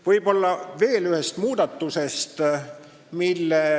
Võib-olla mainin veel ühte muudatust.